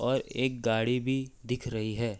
और एक गाड़ी भी दिख रही है।